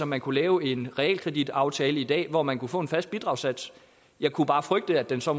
man kunne lave en realkreditaftale i dag om at få en fast bidragssats jeg kunne bare frygte at den så